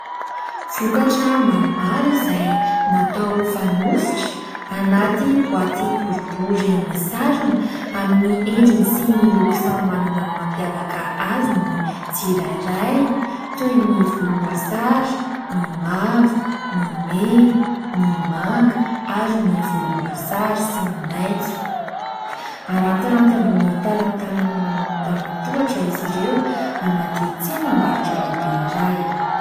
Vokatra maromaro izay natao ho fanositra, anaty boaty boribory misarona, amin'ny endriny sy ny loko samy manana ny mampiavaka azy ny tsirairay toy ny volomboasary, ny mavo, ny mena, ny manga ary ny volomboasary sy ny maitso. Arantiranty ambony talantalana manao antanatohatra izy ireo anaty tsenam-barotra lehibe iray.